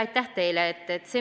Aitäh teile!